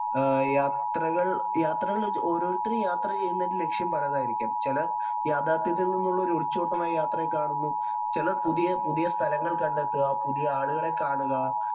യാത്രകള്‍ ഓരോത്തരും യാത്ര ചെയ്യുന്നതിന്‍റെ ലക്‌ഷ്യം പലതായിരിക്കും. യാഥാര്‍ത്ഥ്യത്തില്‍ നിന്നുള്ള ഒരു ഒളിച്ചോട്ടമായി യാത്രയെ കാണുന്നു. ചെല പുതിയ പുതിയ സ്ഥലങ്ങള്‍ കണ്ടെത്തുക, പുതിയ ആളുകളെ കാണുക,